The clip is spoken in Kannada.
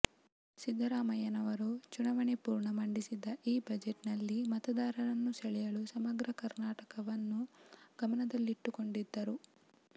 ಸಿದ್ದರಾಮಯ್ಯನವರು ಚುನಾವಣೆಪೂರ್ವ ಮಂಡಿಸಿದ್ದ ಈ ಬಜೆಟ್ನಲ್ಲಿ ಮತದಾರರನ್ನು ಸೆಳೆಯಲು ಸಮಗ್ರ ಕರ್ನಾಟಕವನ್ನು ಗಮನದಲ್ಲಿಟ್ಟುಕೊಂಡಿದ್ದರು